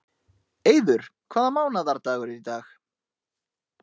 Eiður, hvaða mánaðardagur er í dag?